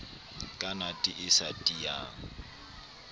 ka nate e sa tiyang